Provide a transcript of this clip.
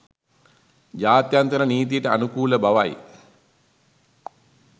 ජාත්‍යන්තර නීතියට අනුකූල බවයි